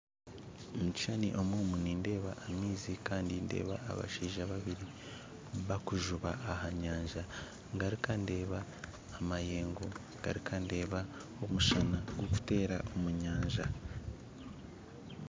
Omukishushani omu nindeeba amaizi kandi ndeeba abashaija babiri bakujuba ah'anyanja ngaruka ndeeba amayengo ngaruka ndeeba omushana gukutera omunyanja.